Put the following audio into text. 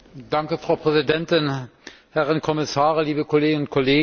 Frau Präsidentin, Herren Kommissare, liebe Kolleginnen und Kollegen!